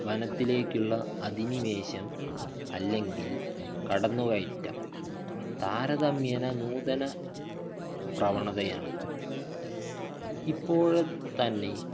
വനത്തിലേക്കുള്ള അധിനിവേശം അല്ലെങ്കിൽ കടന്നുകയറ്റം താരതമ്യേനെ നൂതന പ്രവണതയാണ്. ഇപ്പോഴ തന്നെ